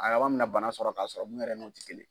A laban bɛna bana sɔrɔ k'a sɔrɔ mun yɛrɛ n'o ti kelen